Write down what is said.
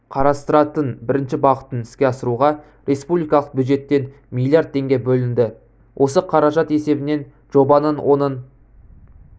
қарастыратын бірінші бағытын іске асыруға республикалық бюджеттен миллиард теңге бөлінді осы қаражат есебінен жобаның оның